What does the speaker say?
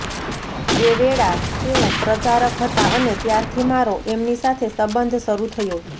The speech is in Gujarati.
એ વેળા તેઓ પ્રચારક હતા અને ત્યારથી મારો એમની સાથે સંબંધ શરૂ થયો